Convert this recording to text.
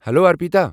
Hello, Arpita.